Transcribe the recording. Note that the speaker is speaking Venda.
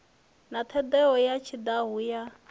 na ṱhodea ya tshihaḓu ya